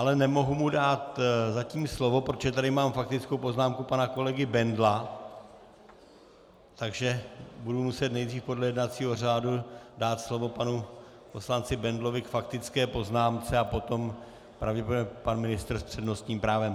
Ale nemohu mu dát zatím slovo, protože tady mám faktickou poznámku pana kolegy Bendla, takže budu muset nejprve podle jednacího řádu dát slovo panu poslanci Bendlovi k faktické poznámce a potom pravděpodobně pan ministr s přednostním právem.